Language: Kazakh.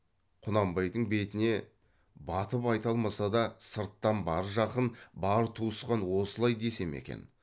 құнанбайдың бетіне батып айта алмаса да сырттан бар жақын бар туысқан осылай десе ме екен